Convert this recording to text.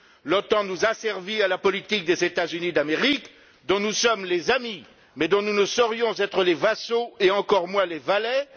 L'OTAN nous asservit à la politique des États Unis d'Amérique, dont nous sommes les amis, mais dont nous ne saurions être les vassaux et encore moins les valets.